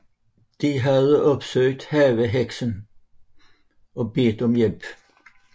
De havde opsøgt havheksen og bedt om hjælp